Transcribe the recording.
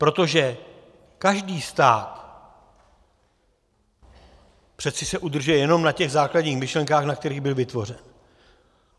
Protože každý stát se přece udržuje jenom na těch základních myšlenkách, na kterých byl vytvořen.